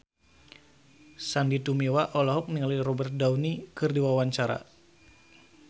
Sandy Tumiwa olohok ningali Robert Downey keur diwawancara